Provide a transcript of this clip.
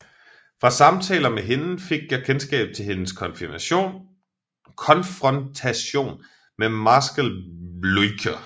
Fra samtaler med hende fik jeg kendskab til hendes konfrontation med marskal Bljukher